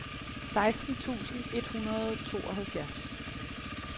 seksten tusind tre hundrede og tooghalvfjerds